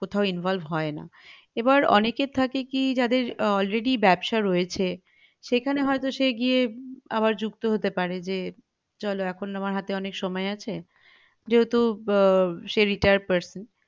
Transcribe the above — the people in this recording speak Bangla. কোথাও involve হয় না এবার অনেকের থাকে কি যাদের already ব্যাবসা রয়েছে সেখানে হয়ত সে গিয়ে আবার জুক্ত হতে পারে যে চলো এখন আমার হাতে অনেক সময় আছে যেহেতু আহ সে retired person